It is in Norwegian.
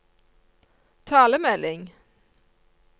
talemelding